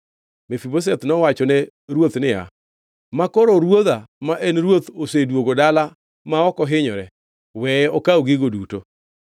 Mefibosheth nowachone ruoth niya, “Makoro ruodha ma en ruoth osedwogo dala ma ok ohinyore, weye okaw gigo duto.”